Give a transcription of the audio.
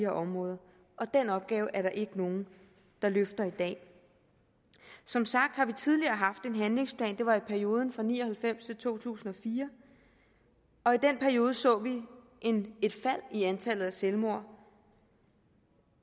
områder og den opgave er der ikke nogen der løfter i dag som sagt har vi tidligere haft en handlingsplan det var i perioden fra nitten ni og halvfems til to tusind og fire og i den periode så vi et fald i antallet af selvmord